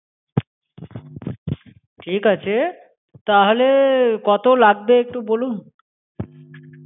ঠিক আছে. তাহলে, কত লাগবে একটু বলুন।